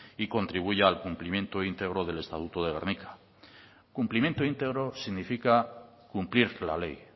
y contribuya al cumplimiento íntegro del estatuto de gernika cumplimiento íntegro significa cumplir la ley